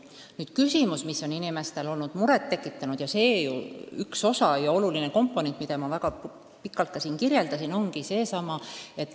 Aga on üks küsimus, mis on inimestele muret tekitanud ja millest ma väga pikalt ka siin rääkisin.